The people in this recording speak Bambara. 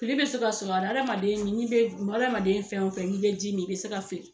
Fili bɛ se ka sɔrɔ a la hadamaden n'i bɛ hadamaden fɛn o fɛn n'i bɛ ji min i bɛ se ka fili.